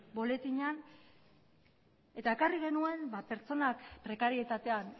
boletinean eta ekarri genuen pertsonak prekarietatean